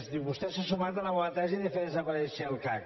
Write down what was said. diu vostè s’ha sumat a la meua tesi que és fer desaparèixer el cac